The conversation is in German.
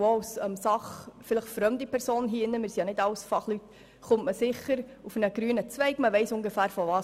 Auch als sachfremde Person kommt man sicher auf einen grünen Zweig und weiss ungefähr, wovon man spricht.